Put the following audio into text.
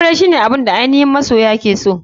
Aure shine abun da ainihin masoya ke so.